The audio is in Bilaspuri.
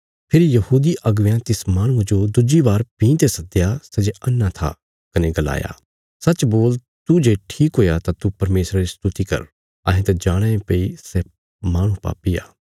फेरी यहूदी अगबेयां तिस माहणुये जो दुज्जी बार भीं ते सद्दया सै जे अन्हा था कने गलाया सच्च बोल तू जे ठीक हुया तां तू परमेशरा री स्तुति कर अहें त जाणाँ ये भई सै माहणु पापी आ